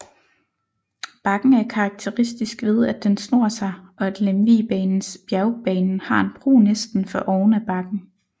Bakken er karakteristisk ved at den snor sig og at Lemvigbanens bjergbanen har en bro næsten for oven af bakken